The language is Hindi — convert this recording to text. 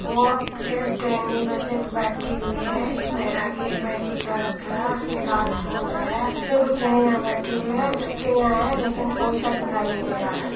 वैसे भी बैठी हुई है | एक वैरागी एक बिछा रखा है लेकिन कोई सा दिखाई नहीं दे रहा है।